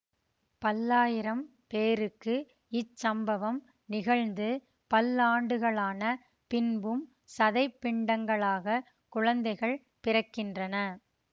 பல்லாயிரம் பேருக்கு இச்சம்பவம் நிகழ்ந்து பல்லாண்டுகளான பின்பும் சதைப் பிண்டங்களாக குழந்தைகள் பிறக்கின்றன